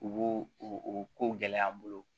U b'o o kow gɛlɛya n bolo